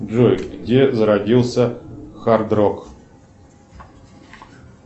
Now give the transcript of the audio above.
джой где зародился хард рок